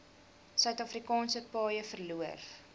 suidafrikaanse paaie verloor